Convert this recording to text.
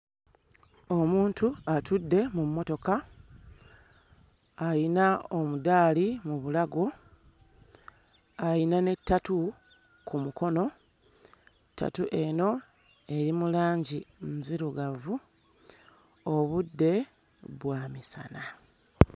Omuntu atudde mu mmotoka ayina omudaali mu bulago ayina ne ttatu ku mukono ttatu eno eri mu langi nzirugavu obudde bwa misana.